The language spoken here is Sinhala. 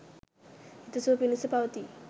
හිත සුව පිනිස පවතියි